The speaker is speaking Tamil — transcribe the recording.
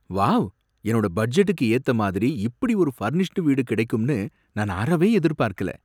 வாவ்! என்னோட பட்ஜெட்டுக்கு ஏத்த மாதிரி இப்படி ஒரு ஃபர்னிஷ்டு வீடு கிடைக்கும்னு நான் அறவே எதிர்பார்க்கல!